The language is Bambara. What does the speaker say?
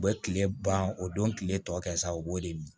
U bɛ kile ban o don kile tɔ kɛ sa u b'o de mi